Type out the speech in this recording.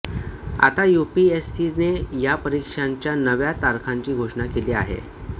आता यूपीएससीने या परीक्षांच्या नव्या तारखांची घोषणा केली आहे